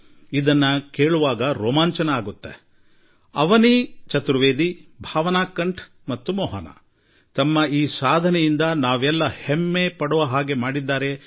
ನಮ್ಮ ಮೂವರು ಪುತ್ರಿಯರಾದ ಫ್ಲೈಯಿಂಗ್ ಆಫೀಸರ್ ಅವನೀತ್ ಚತುರ್ವೇದಿ ಭಾವನಾಕಂಠ್ ಮತ್ತು ಮೋಹನಾ ನಮಗೆ ಗೌರವ ತಂದುಕೊಟ್ಟಿದ್ದಾರೆ